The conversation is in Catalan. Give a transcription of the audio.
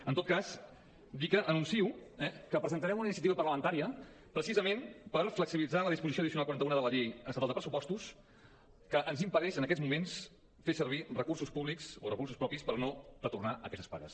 en tot cas dir que anuncio que presentarem una iniciativa parlamentària precisament per flexibilitzar la disposició addicional quaranta unena de la llei estatal de pressupostos que ens impedeix en aquests moments fer servir recursos públics o recursos propis per no retornar aquestes pagues